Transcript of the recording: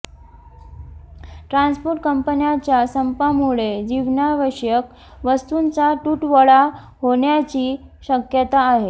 transport कंपन्याच्या संपामुळे जीवनावश्यक वस्तूंचा तुटवडा होण्याची शक्यता आहे